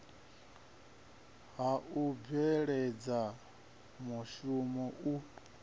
ha u bveledza mushumo u